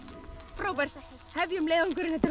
frábært hefjum leiðangurinn þetta er